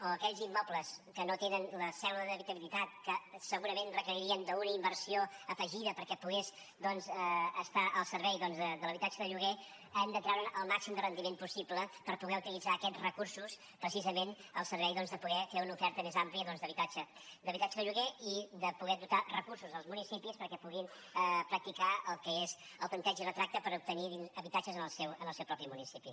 o aquells immobles que no tenen la cèdula d’habitabilitat que segurament requeririen d’una inversió afegida perquè pogués estar al servei de l’habitatge de lloguer hem de treure’n el màxim de rendiment possible per poder utilitzar aquests recursos precisament al servei de poder fer una oferta més àmplia d’habitatge d’habitatge de lloguer i de poder dotar de recursos els municipis perquè puguin practicar el que és el tanteig i retracte per obtenir habitatges en el seu propi municipi